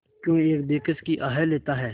क्यों एक बेकस की आह लेता है